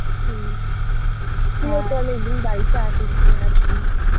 হম তুইও তো অনেকদিন বাড়িতে আসিসনি একদিন